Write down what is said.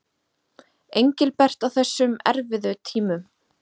Engilbert á þessum erfiðu tímum.